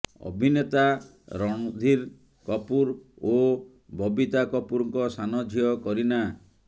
ଅଭିନେତା ରଣଧୀର କପୁର ଓ ବବିତା କପୁରଙ୍କ ସାନ ଝିଅ କରିନା